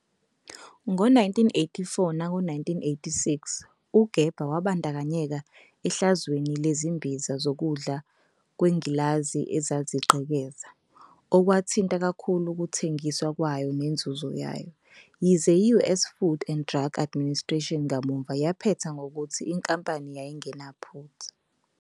Ngo-1984 nango-1986, uGerber wayebandakanyeka ehlazweni lezimbiza zokudla kwengilazi ezazigqekeza, okwakuthinta kakhulu ukuthengiswa kwayo nenzuzo yayo, yize i-US Food and Drug Administration kamuva yaphetha ngokuthi inkampani yayingenaphutha.